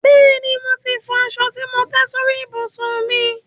Bẹ́ẹ̀ni, mo ti fọ aṣọ tí mò ń tẹ́ sórí ìbùsùn mi.